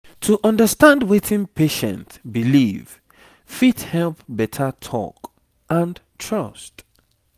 to understand wetin patient believe fit help better talk and trust